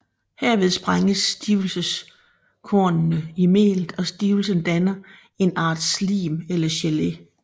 Herved sprænges stivelseskornene i melet og stivelsen danner en art slim eller gelé